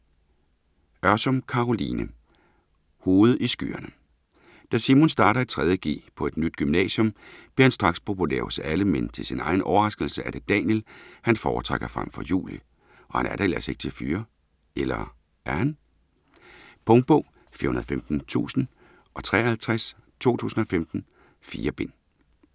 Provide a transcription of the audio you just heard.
Ørsum, Caroline: Hovedet i skyerne Da Simon starter i 3.g på et nyt gymnasium, bliver han straks populær hos alle, men til sin egen overraskelse er det Daniel, han foretrækker frem for Julie, og han er da ellers ikke til fyre. Eller er han? Punktbog 415053 2015. 4 bind.